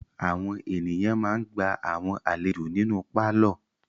Àwọn ènìyàn ma ń gba àwọn àlejò nínú pálọ̀.